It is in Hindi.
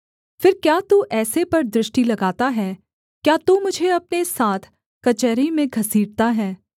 फिर क्या तू ऐसे पर दृष्टि लगाता है क्या तू मुझे अपने साथ कचहरी में घसीटता है